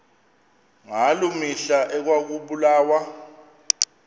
ngaloo mihla ekwakubulawa